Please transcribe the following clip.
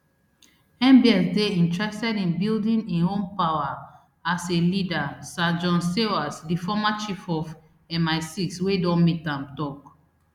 mbs dey interested in building im own power as a leader sir john sawers di former chief of misix wey don meet am tok